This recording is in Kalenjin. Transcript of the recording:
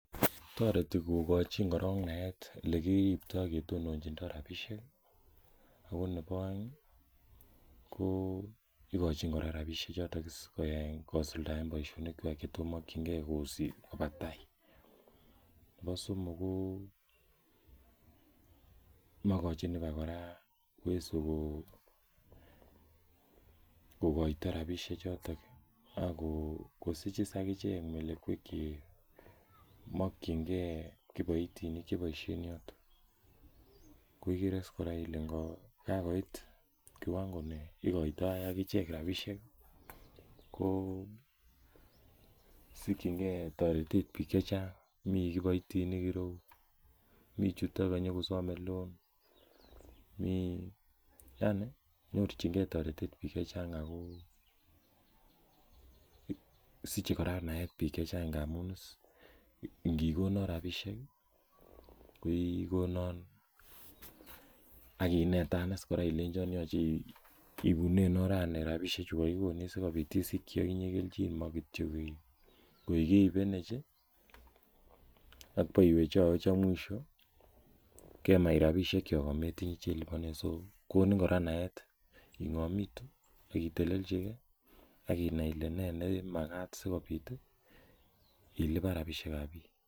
toreti kokochin naet eleki telelchindo rabinik ih , oko nebaaeng igochin kora rabinik ih kosuldaen boisionik Kwak Cheetos makienge ko batai. Mokochin ibak kora uwezo ko kokoita rabinik choto kosichis agichek rabinik chemakienge kiboitinik koigere kora kele kiwango nebo rabisiek ko sikchinge ko mi kiboitinik ireu , mi chuton kanyokosame loan nyorchinige taretet bik chechang siche kora naet bik chechang ngamuun inikona rabisiek ih ikonan akinetan kora kebune koikeibenech ih ak baiwechawech akoi mwisho ametinye chelubani so ngora naet ingamitu iluban rabisiek kab bik.